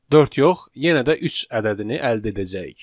dörd yox, yenə də üç ədədini əldə edəcəyik.